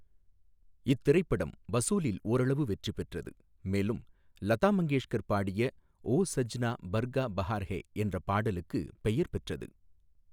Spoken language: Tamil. இத்திரைப்படம் வசூலில் ஓரளவு வெற்றி பெற்றது, மேலும் லதா மங்கேஷ்கர் பாடிய "ஓ சஜ்னா பர்கா பஹார் ஐ" என்ற பாடலுக்குப் பெயர் பெற்றது.